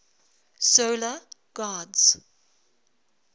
solar gods